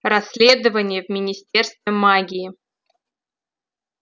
расследование в министерстве магии